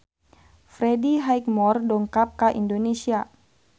Freddie Highmore dongkap ka Indonesia